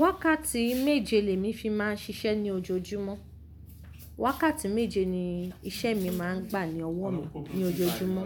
Wákàtí méje lè mí fi máa ń ṣiṣẹ́ ní ojoojúmọ́. Wákàtí méje ni iṣẹ́ mi máa ń gbà ní ọwọ́ mi ní ojoojúmọ́.